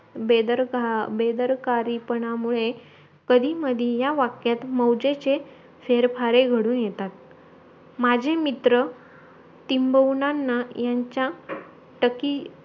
Bader- बेधारकरीमुळे तरी मधी या वाक्यात मौजेचे फेर फारे घडून येतात माझे मित्र टिम्बवुनानं यांच्या टकी